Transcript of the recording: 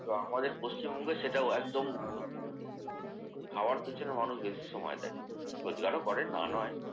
কিন্তু আমাদের পশ্চিমবঙ্গে সেটাও একদম উলটো। খাওয়ার পেছনে মানুষ বেশি সময় দেয়। রোজগারও করে। না নয়।